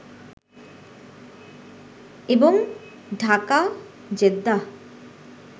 এবং ঢাকা-জেদ্দাহ